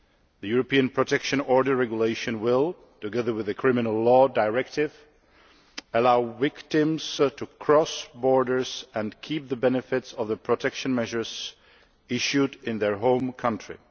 The European Protection Order Regulation will, together with the Criminal Law Directive, allow victims to cross borders and retain the benefits of the protection measures issued in their home country.